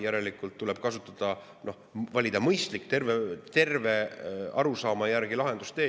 Järelikult tuleb valida mõistlik, tervele arusaamale lahendustee.